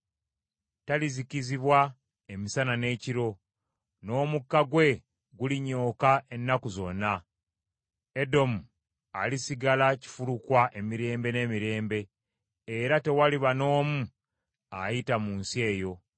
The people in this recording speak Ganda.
Talizikizibwa emisana n’ekiro, n’omukka gwe gulinyooka ennaku zonna. Edomu alisigala kifulukwa emirembe n’emirembe, era tewaliba n’omu ayita mu nsi eyo.